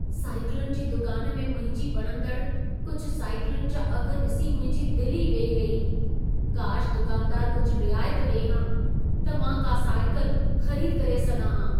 साइकिलुनि जी दुकान में मुंहिंजी वणंदड़ कुझु साइकिलुनि जा अघ ॾिसी मुंहिंजी दिल ई वेही रही। काश दुकानदार कुझु रियायत ॾिए हा, त मां का साइकल ख़रीद करे सघां हा।